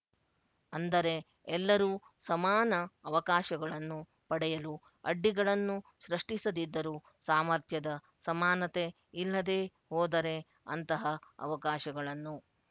ಅಂದರೆ ಎಲ್ಲರೂ ಸಮಾನ ಅವಕಾಶಗಳನ್ನು ಪಡೆಯಲು ಅಡ್ಡಿಗಳನ್ನು ಸೃಷ್ಟಿಸದಿದ್ದರೂ ಸಾಮರ್ಥ್ಯದ ಸಮಾನತೆ ಇಲ್ಲದೆ ಹೋದರೆ ಅಂತಹ ಅವಕಾಶಗಳನ್ನು